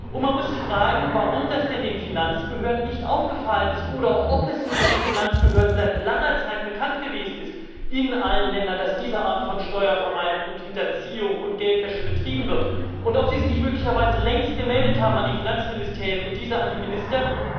Und man muss fragen, warum das denn den Finanzbehörden nicht aufgefallen ist oder ob es nicht den Finanzbehörden seit langer Zeit bekannt gewesen ist in allen Ländern, dass diese Art von Steuervermeidung und —hinterziehung und Geldwäsche betrieben wird, und ob sie es nicht möglicherweise längst gemeldet haben an die Finanzministerien und diese an die Minister.